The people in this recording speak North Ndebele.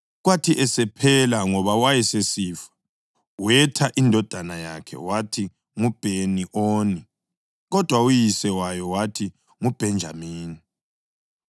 Kwathi esephela ngoba wayesesifa wetha indodana yakhe wathi nguBheni-Oni. Kodwa uyise wayo wayithi nguBhenjamini.